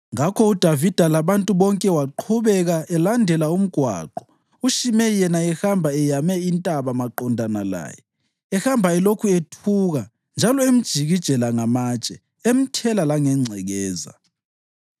Ngakho uDavida labantu bonke waqhubeka elandela umgwaqo uShimeyi yena ehamba eyame intaba maqondana laye, ehamba elokhu ethuka njalo emjikijela ngamatshe emthela langengcekeza.